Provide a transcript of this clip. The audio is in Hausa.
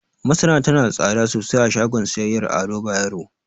Masara tana da tsada sosai a shagon siyayyar Ado Bayero.